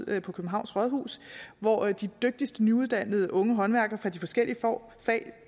er på københavns rådhus hvor de dygtigste nyuddannede unge håndværkere fra de forskellige fag